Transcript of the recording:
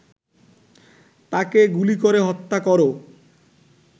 তাকে গুলি করে হত্যা কর